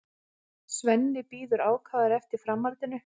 Svenni bíður ákafur eftir framhaldinu.